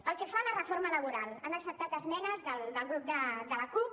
pel que fa a la reforma laboral han acceptat esmenes del grup de la cup